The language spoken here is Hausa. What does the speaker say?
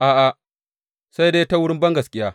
A’a, sai dai ta wurin bangaskiya.